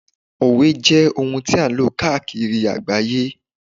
òwe jé oun ti a n lo kaakiri agbaye